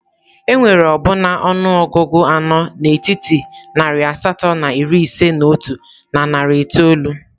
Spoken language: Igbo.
Enwere ọbụna ọnụọgụ anọ n'etiti narị asatọ na iri ise na otu na narị itoolu.